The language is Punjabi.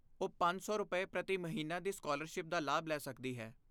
ਉਹ ਪੰਜ ਸੌ ਰੁਪਏ, ਪ੍ਰਤੀ ਮਹੀਨਾ ਦੀ ਸਕਾਲਰਸ਼ਿਪ ਦਾ ਲਾਭ ਲੈ ਸਕਦੀ ਹੈ